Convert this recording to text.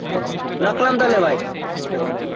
রাখলাম তাহলে ভাই